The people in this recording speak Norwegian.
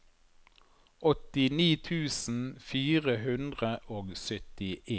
åttini tusen fire hundre og syttien